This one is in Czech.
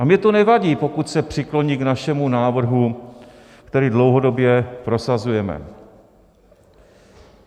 A mně to nevadí, pokud se přikloní k našemu návrhu, který dlouhodobě prosazujeme.